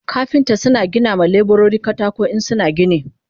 kafinta suna buga wa leburori katako in suna gini